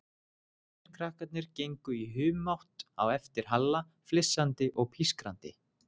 Hinir krakkarnir gengu í humátt á eftir Halla, flissandi og pískrandi.